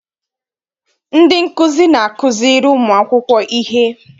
Ndị nkụzi na-akụziri ụmụ akwụkwọ ihe.